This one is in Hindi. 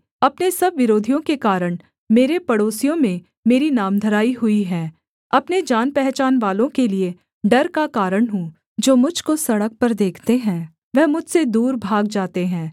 अपने सब विरोधियों के कारण मेरे पड़ोसियों में मेरी नामधराई हुई है अपने जानपहचानवालों के लिये डर का कारण हूँ जो मुझ को सड़क पर देखते है वह मुझसे दूर भाग जाते हैं